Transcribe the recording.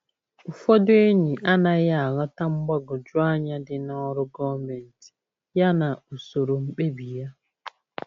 Ụfọdụ enyi anaghị aghọta mgbagwoju anya dị n’ọrụ gọọmentị ya na usoro mkpebi ya.